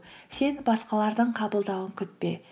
сен басқалардың қабылдауын күтпе